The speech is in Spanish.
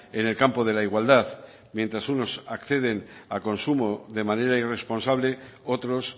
en el campo de la igualdad mientras unos acceden a consumo de manera irresponsable otros